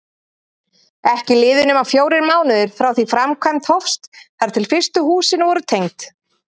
Ekki liðu nema fjórir mánuðir frá því framkvæmd hófst þar til fyrstu húsin voru tengd.